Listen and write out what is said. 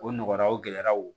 O nɔgɔra o gɛlɛyaraw